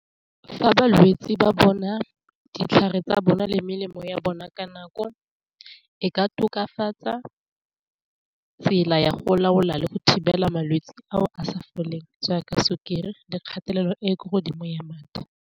Fa balwetsi ba bona ditlhare tsa bona le melemo ya bona ka nako, e ka tokafatsa tsela ya go laola le go thibela malwetsi ao a sa foleng so ya ka sukiri le kgatelelo e kwa godimo ya madi.